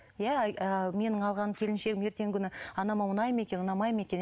иә ы менің алған келіншегім ертеңгі күні анама ұнай ма екен ұнамай ма екен